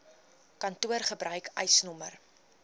kantoor gebruik eisnr